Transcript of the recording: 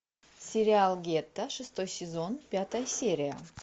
сериал гетто шестой сезон пятая серия